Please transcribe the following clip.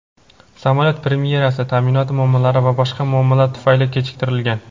samolyot premyerasi ta’minot muammolari va boshqa muammolar tufayli kechiktirilgan.